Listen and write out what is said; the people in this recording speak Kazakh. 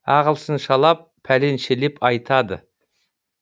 ағылшыншалап пәленшелеп айтады